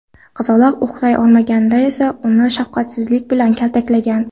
Qizaloq uxlay olmaganda esa uni shafqatsizlik bilan kaltaklagan.